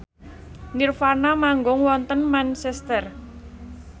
nirvana manggung wonten Manchester